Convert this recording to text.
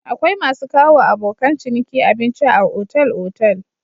Akwai masu kawowa abokan ciniki abinci a otal-otal.